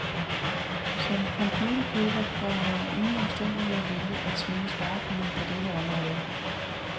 Som computerkøber bør man under ingen omstændigheder vælge at svinge sparekniven på dette område.